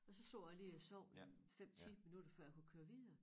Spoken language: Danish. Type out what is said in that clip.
Og så sad jeg lige og sov en 5 10 minutter før jeg kunne køre videre